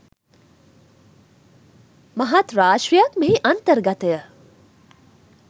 මහත් රාශියක් මෙහි අන්තර්ගතය